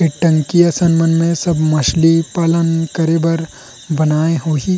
ये टंकी असल मन में सब मछली पालन करे बर बनाए होही।